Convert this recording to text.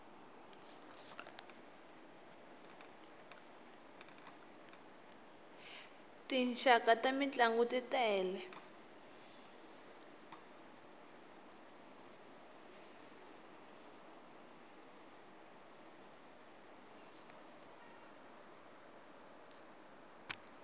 tinxaka ta mintlangu t tele